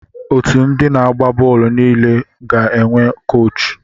Otu ndị na-agba bọọlụ niile ga-enwe koochi.